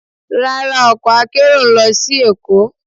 Rara, ọkọ akero n lọ si Èko.